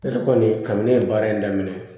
Ale kɔni kabini ye baara in daminɛ